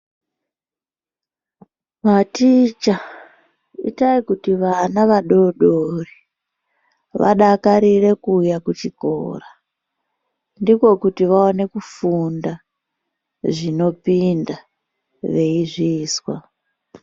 Maticha itai kuti vanavadodori vanadakarire kuuya kuchikora ndiko kuti vaone kufunda zvinopinda veizvizwa.